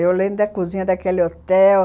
Eu lembro da cozinha daquele hotel.